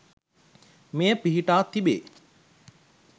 මෙය පිහිටා තිබේ.